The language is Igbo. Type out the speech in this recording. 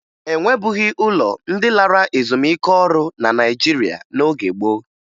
E nwebughi ụlọ ndị lara ezumike ọrụ na Naịjirịa n'oge gboo